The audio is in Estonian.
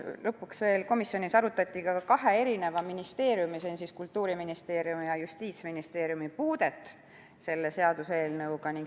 Lõpuks arutati komisjonis veel kahe ministeeriumi, st Kultuuriministeeriumi ja Justiitsministeeriumi kokkupuudet selle seaduseelnõuga.